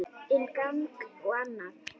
Inn gang og annan.